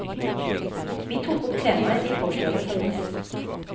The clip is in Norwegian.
Vi tok opp temaet i gårsdagens avis.